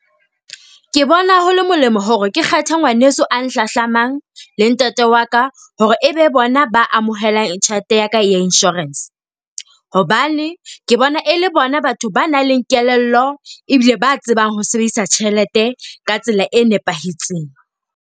Ke bona ho le molemo hore ke kgethe ngwaneso a nhlahlamang le ntate wa ka hore e be bona ba amohelang tjhelete ya ka ya insurance. Hobane ke bona e le bona batho ba nang le kelello ebile ba tsebang ho sebedisa tjhelete ka tsela e nepahetseng.